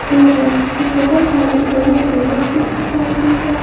Table और बहुत सारा बड़े टेवल भी दिखाई दे रहा।